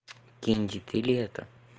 кенди ты ли это